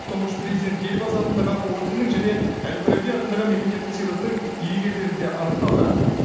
тұңғыш президент елбасы атындағы орденнің және әл фараби атындағы мемлекеттік сыйлықтың иегерлері де анықталды